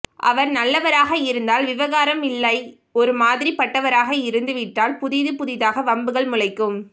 அவர் நல்லவராக இருந்தால் விவகாரம் இல்லை ஒரு மாதிரி பட்டவராக இருந்து விட்டால் புதிது புதிதாக வம்புகள் முளைக்கும்